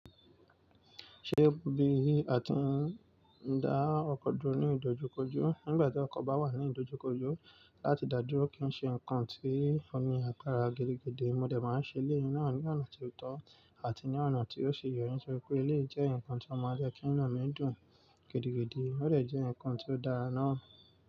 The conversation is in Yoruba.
Ṣé bí a ti ń dá ọkọ dúró ní ìdojúkọjú, nígbà tí ọkọ̀ bá wà ní ìdojúkọjú láti dàdúró kí n ṣe nǹkan tí ó ní àgbàra gidigídi, mo lè máa ṣe ilé náà ní ọ̀nà tó tọ́ àti ní ọ̀nà tí yóò ṣe yọrí, nítorí pé ilé jẹ́ ǹkan tí ọmọ ọdẹ kí ẹnà mí dùn gidigidi, ó lè jẹ́ ǹkan tí ó dára náà.